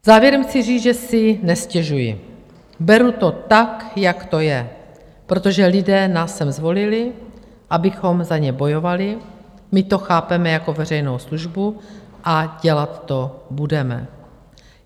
V závěru chci říci, že si nestěžuji, beru to tak, jak to je, protože lidé nás sem zvolili, abychom za ně bojovali, my to chápeme jako veřejnou službu a dělat to budeme.